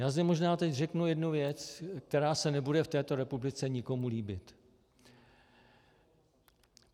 Já zde možná teď řeknu jednu věc, která se nebude v této republice nikomu líbit.